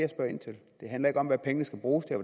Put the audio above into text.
handler ikke om hvad pengene skal bruges til